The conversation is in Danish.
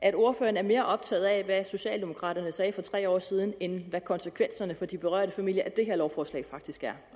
at ordføreren er mere optaget af hvad socialdemokraterne sagde for tre år siden end hvad konsekvenserne for de berørte familier af det her lovforslag faktisk er